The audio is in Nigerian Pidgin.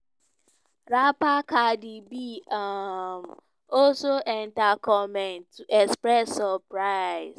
rapper cardi b um also enta comment to express surprise.